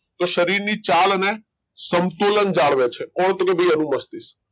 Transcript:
તો શરીર ની ચાલ અને સંતુલન જાળવે છે કોણ તો કે ભઈ અનુમસ્તિષ્ક.